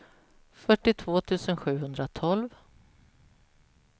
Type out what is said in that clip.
fyrtiotvå tusen sjuhundratolv